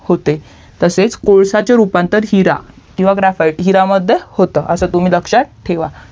होते तसेच कोलश्याचे रूपांतर हिरा किवहा ग्राफाईट हिरा मध्ये होतं असा तुमी लक्षात ठेवा